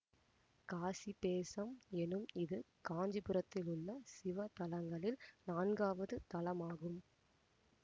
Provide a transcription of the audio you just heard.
காசிபேசம் எனும் இது காஞ்சிபுரத்திலுள்ள சிவ தலங்களில் நான்காவது தலமாகும்